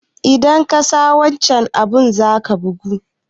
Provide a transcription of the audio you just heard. Idan kasa wancan abun zaka bugu